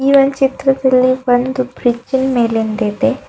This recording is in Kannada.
ಒನ್ ಚಿತ್ರದಲ್ಲಿ ಒಂದು ಬ್ರಿಡ್ಜ್ ಇನ್ ಮೇಲಿಂದಿದೆ.